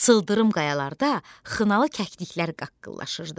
Sıldırım qayalarda xınalı kəkliklər qaqqılaşırdı.